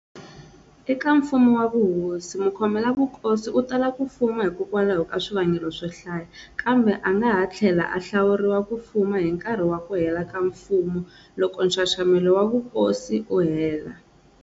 Eka mfumo wa vuhosi, mukhomela vukosi u tala ku fuma hikwalaho ka swivangelo swo hlaya, kambe a nga ha tlhela a hlawuriwa ku fuma hi nkarhi wa ku hela ka mfumo loko nxaxamelo wa vuhosi wu hela.